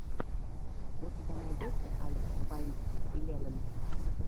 у тебя найдется алекс бай илевн